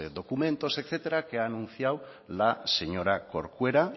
documentos etcétera que ha anunciado la señora corcuera